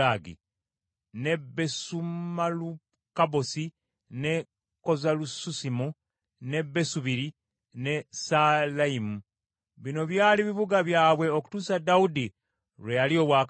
ne Besumalukabosi, ne Kozalususimu, ne Besubiri ne Saalayimu. Bino byali bibuga byabwe okutuusa Dawudi lwe yalya obwakabaka.